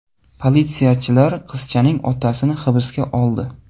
Politsiyachilar qizchaning otasini hibsga oldi.